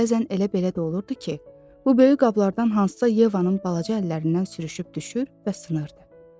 Bəzən elə belə də olurdu ki, bu böyük qablardan hansısa Yevanın balaca əllərindən sürüşüb düşür və sınardı.